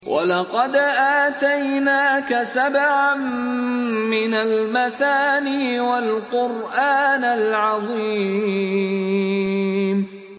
وَلَقَدْ آتَيْنَاكَ سَبْعًا مِّنَ الْمَثَانِي وَالْقُرْآنَ الْعَظِيمَ